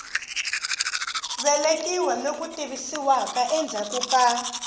velekiwa loku tivisiwaka endzhaku ka